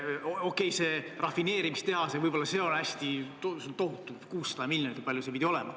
Okei, see rafineerimistehas, see on küll tohutu summa, 600 miljonit või kui palju see pidavat olema.